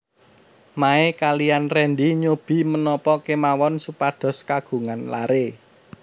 Mae kaliyan Rendy nyobi menapa kemawon supados kagungan laré